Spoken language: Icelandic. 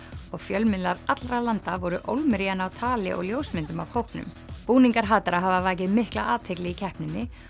og fjölmiðlar allra landa voru ólmir í að ná tali og ljósmyndum af hópnum búningar hatara hafa vakið mikla athygli í keppninni